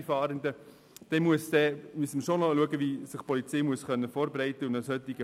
Wir müssen dann schauen, wie sich die Polizei vorbereiten kann.